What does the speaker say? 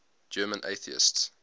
german atheists